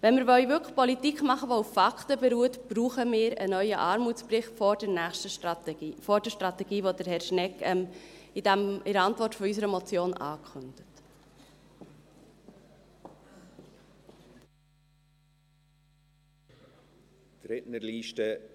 Wenn wir wirklich Politik machen wollen, die auf Fakten beruht, brauchen wir einen neuen Armutsbericht vor der nächsten Strategie, vor der Strategie, die Herr Schnegg in der Antwort auf unsere Motion ankündigt.